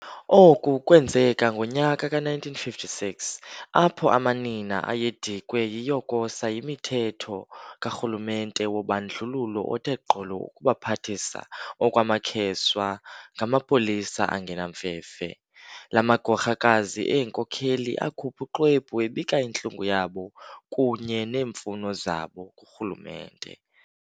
Oku kwenzeka ngonyaka ka 1956, apho amanina ayedikwe yiyokosa yimithetho ka Rhulumente wobandlululo othe gqolo ukubaphathisa okwamakheswa ngamapolisa angenamfefe. La magorhakazi eenkokheli akhupha uxwebu ebika intlungu yabo kunye neemfuno zabo ku rhulumente.